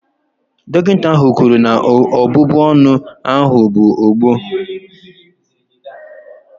Dọkịta ahụ kwuru na ọbụbụ ọnụ ahụ bụ ọgbọ